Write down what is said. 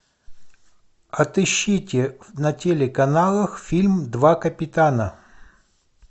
отыщите на телеканалах фильм два капитана